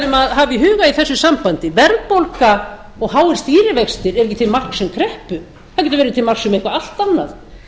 hafa í huga í þessu sambandi verðbólga og háir stýrivextir eru ekki til marks um kreppu það getur verið til marks um allt annað